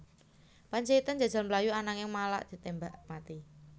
Pandjaitan njajal mlayu ananging malah ditémbak mati